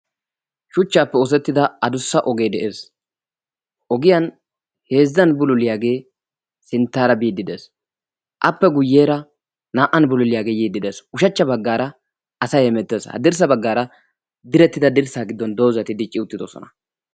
shuchchaappe oosettida adussa ogee de'ees. ogiyan heezzan bululiyaagee sinttaara biiddi dees appe guyyeera naa"an bululiyaagee yiiddi dees. Ushachcha baggaara asai hemettees ha dirssa baggaara direttida dirssa giddon doozati dicci uttidosona.